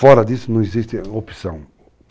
Fora disso, não existe opção.